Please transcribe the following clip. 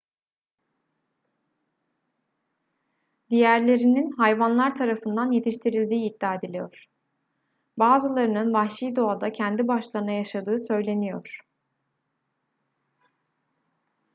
diğerlerinin hayvanlar tarafından yetiştirildiği iddia ediliyor bazılarının vahşi doğada kendi başlarına yaşadığı söyleniyor